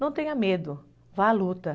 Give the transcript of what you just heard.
Não tenha medo, vá à luta.